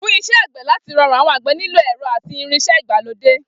Fún is̩é̩ àgbè̩ láti ro̩rùn, àwo̩n àgbè̩ nílò è̩ro̩ àti irins̩é̩ ìgbàlódé